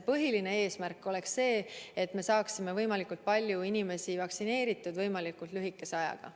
Põhiline eesmärk on see, et me saaksime võimalikult palju inimesi vaktsineeritud võimalikult lühikese ajaga.